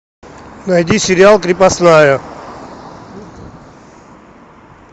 найди сериал крепостная